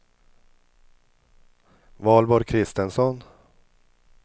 Valborg Christensson